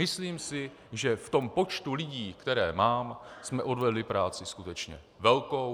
Myslím si, že v tom počtu lidí, které mám, jsme odvedli práci skutečně velkou.